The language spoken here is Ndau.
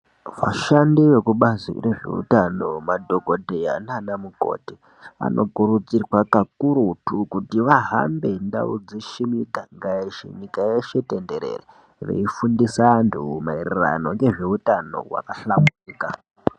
Vashandi vekubazi rezveutano , madhokodheya naanamukoti ,anokurudzirwa kakurutu kuti vahambe ndau dzeshe nemiganga yeshe, nyika yeshe tenderere, veifundisa maererano nezveutano hwakahlamburika.